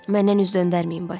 Məndən üz döndərməyin, Basil.